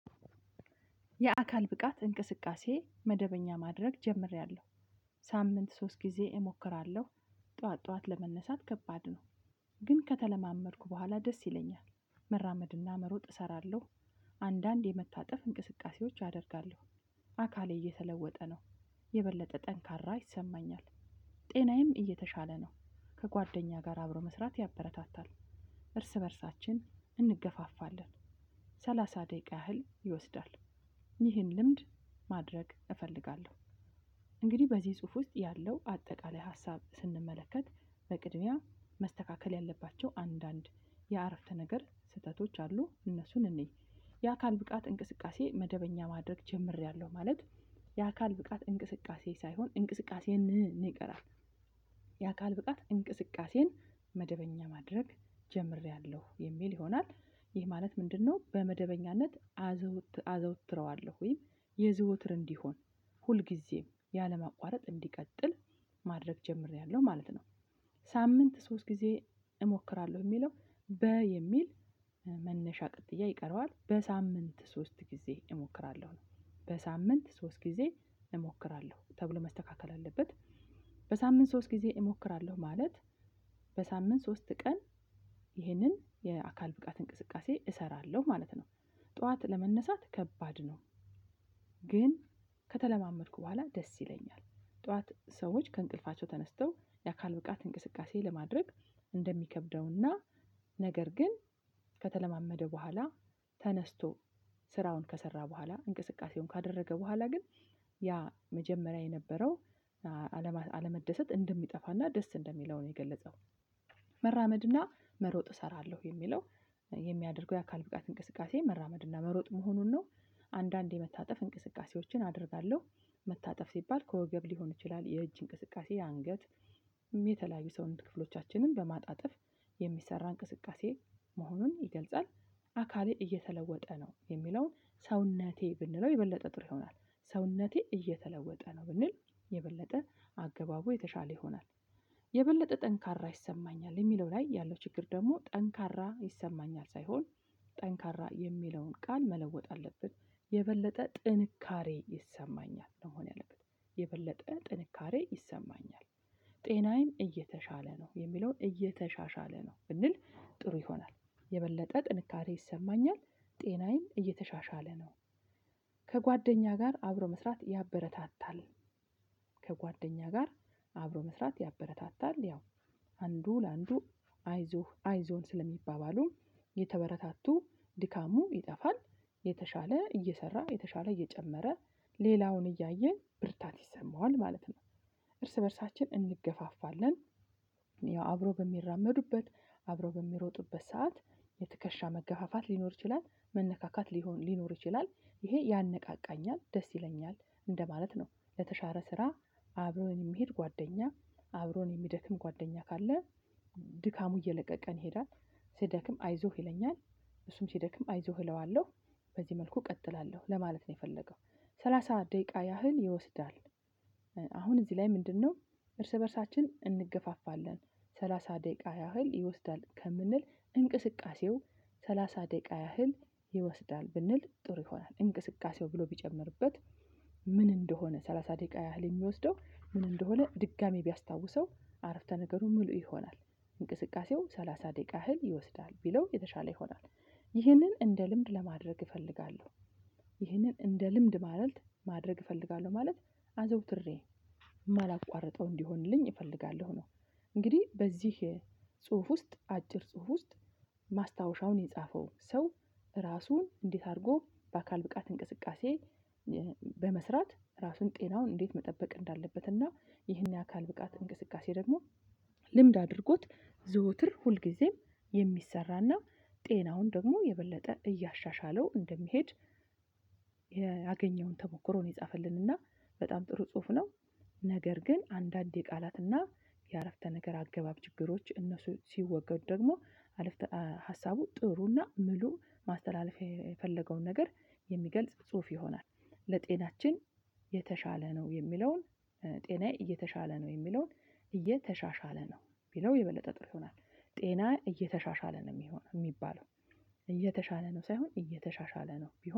የአካል ብቃት እንቅስቃሴ መደበኛ ማድረግ ጀምሬያለሁ። ሳምንት ሶስት ጊዜ እሞክራለሁ። ጠዋት ጠዋት ለመነሳት ከባድ ነው። ግን ከተለማመድኩ በኋላ ደስ ይለኛል መራመድና መሮጥ እሰራለሁ። አንዳንድ የመታጠፍ እንቅስቃሴዎች አደርጋለሁ። አካሌ እየተለወጠ ነው የበለጠ ጠንካራ ይሰማኛል። ጤናዬም እየተሻለ ነው ከጓደኛ ጋር አብሮ መስራት ያበረታታል። እርስ በእርሳችን እንገፋፋለን ሰላሳ ደቂቃ ያህል ይወስዳል። ይህን ልምድ ማድረግ እፈልጋለሁ። እንግዲህ በዚህ ጽሁፍ ውስጥ ያለው አጠቃላይ ሀሳብ ስንመለከት በቅድሚያ መስተካከል ያለባቸው አንዳንድ የአረፍተ ነገር ስህተቶች አሉ እነሱን እንይ። የአካል ብቃት እንቅስቃሴ መደበኛ ማድረግ ጀምሬያለሁ ማለት። የአካል ብቃት እንቅስቃሴ ሳይሆን እንቅስቃሴን እንቀራለን። የአካል ብቃት እንቅስቃሴን መደበኛ ማድረግ ጀምሬያለሁ የሚል ይሆናል። ይህ ማለት ምንድነው? በመደበኛነት አዘውትረዋለሁ ወይም የዘውትር እንዲሆን ሁልጊዜም ያለማቋረጥ እንዲቀጥል ማድረግ ጀምሬያለሁ ማለት ነው። ሳምንት ሶስት ጊዜ እሞክራለሁ የሚለው በ የሚል መነሻ ቅጥያ ይቀረዋል በሳምንት ሶስት ጊዜ እሞክራለሁ ነው። በሳምንት ሶስት ጊዜ እሞክራለሁ ተብሎ መስተካከል አለበት። በሳምንት ሶስት ጊዜ እሞክራለሁ ማለት በሳምንት ሶስት ቀን ይህንን የአካል ብቃት እንቅስቃሴ እሰራለሁ ማለት ነው። ጠዋት ለመነሳት ከባድ ነው። ግን ከተለማመድኩ በኋላ ደስ ይለኛል። ጠዋት ሰዎች ከእንቅልፋቸው ተነስተው የአካል ብቃት እንቅስቃሴ ለማድረግ እንደሚከብደውና ነገር ግን ከተለማመደ በኋላ ተነስቶ ስራውን ከሰራ በኋላ እንቅስቃሴውን ካደረገ በኋላ ግን ያ መጀመሪያ የነበረው አለመደሰት እንደሚጠፋና ደስ እንደሚለው ነው የገለጸው። መራመድና መሮጥ እሰራለሁ የሚለው የሚያደርገው የአካል ብቃት እንቅስቃሴ መራመድና መሮጥ መሆኑን ነው። አንዳንዴ መታጠፍ እንቅስቃሴዎችን አደርጋለሁ። መታጠፍ ሲባል ከወገብ ሊሆን ይችላል የእጅ እንቅስቃሴ አንገት የተለያዩ ሰውን ክፍሎቻችንን በማጣጠፍ የሚሰራ እንቅስቃሴ መሆኑን ይገልጻል። አካሌ እየተለወጠ ነው የሚለውን ሰውነቴ ብንለው የበለጠ ጥሩ ይሆናል ሰውነቴ እየተለወጠ ነው ብንል የበለጠ አገባቡ የተሻለ ይሆናል። የበለጠ ጠንካራ ይሰማኛል የሚለው ላይ ያለው ችግር ደግሞ ጠንካራ ይሰማኛል ሳይሆን ጠንካራ የሚለውን ቃል መለወጥ አለብን የበለጠ ጥንካሬ ይሰማኛል መሆን ያለበት የበለጠ ጥንካሬ ይሰማኛል። ጤናዬም እየተሻለ ነው የሚለውን እየተሻሻለ ነው ብንል ጥሩ ይሆናል የበለጠ ጥንካሬ ይሰማኛል ጤናዬም እየተሻሻለ ነው። ከጓደኛ ጋር አብሮ መስራት ያበረታታል። ከጓደኛ ጋር አብሮ መስራት ያበረታታል ያው አንዱ ለአንዱ አይዞህ አይዞን ስለሚባባሉ የተበረታቱ ድካሙ ይጠፋል የተሻለ እየሰራ የተሻለ እየጨመረ ሌላውን እያየ ብርታት ይሰማዋል ማለት ነው። እርስ በእርሳችን እንገፋፋለን። ያው አብሮ በሚራመዱበት አብሮ በሚሮጡበት ሰዓት የትከሻ መገፋፋት ሊኖር ይችላል መነካካት ሊሆን ሊኖር ይችላል ይሄ ያነቃቃኛል ደስ ይለኛል። እንደማለት ነው ለተሻለ ስራ አብሮን የሚሄድ ጓደኛ አብሮን የሚደክም ጓደኛ ካለ ድካሙ እየለቀቀን ይሄዳል ሲደክም አይዞህ ይለኛል እሱም ሲደክም አይዞህ እለዋለሁ በዚህ መልኩ እቀጥላለሁ ለማለት ነው የፈለገው። ሰላሳ ደቂቃ ያህል ይወስዳል። አሁን እዚህ ላይ ምንድነው? እርስ በእርሳችን እንገፋፋለን ሰላሳ ደቂቃ ያህል ይወስዳል ከምንል እንቅስቃሴው ሰላሳ ደቂቃ ያህል ይወስዳል ብንል ጥሩ ይሆናል እንቅስቃሴው ብሎ ቢጨምርበት ምን እንደሆነ ሰላሳ ደቂቃ ያህል የሚወስደው ምን እንደሆነ ድጋሚ ቢያስታውሰው አረፍተ ነገሩ ሙሉ ይሆናል። እንቅስቃሴው ሰላሳ ደቂቃ ያህል ይወስዳል ቢለው የተሻለ ይሆናል። ይህንን እንደ ልምድ ለማድረግ እፈልጋለሁ። ይህንን እንደ ልምድ ማለት ማድረግ እፈልጋለሁ ማለት አዘውትሬ የማላቋርጠው እንዲሆንልኝ እፈልጋለሁ ነው። እንግዲህ በዚህ ጽሁፍ ውስጥ አጭር ጽሁፍ ውስጥ ማስታወሻውን የጻፈው ሰው ራሱን እንዴት አድርጎ በአካል ብቃት እንቅስቃሴ በመስራት ራሱን ጤናውን እንዴት መጠበቅ እንዳለበት እና ይህን የአካል ብቃት እንቅስቃሴ ደግሞ ልምድ አድርጎት ዘወትር ሁልጊዜም የሚሰራና ጤናውን ደግሞ የበለጠ እያሻሻለው እንደሚሄድ ያገኘውን ተሞክሮ ነው የጻፈልንና በጣም ጥሩ ጽሁፍ ነው። ነገር ግን አንዳንዴ ቃላትና የአረፍተ ነገር አገባብ ችግሮች እነሱ ሲወገዱ ደግሞ አረፍተ ሀሳቡ ጥሩና ሙሉ ማስተላለፍ የፈለገውን ነገር የሚገልጽ ጽሁፍ ይሆናል። ለጤናችን የተሻለ ነው የሚለውን ጤናዬ እየተሻለ ነው የሚለውን እየተሻሻለ ነው ቢለው የበለጠ ጥሩ ይሆናል። ጤናዬ እየተሻሻለ ነው የሚሆነው የሚባለው እየተሻለ ነው ሳይሆን እየተሻሻለ ነው ቢሆን